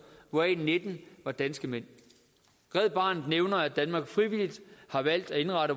hvoraf nitten var danske mænd red barnet nævner at danmark frivilligt har valgt at indrette